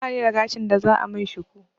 Bani da gashin da za a min shuku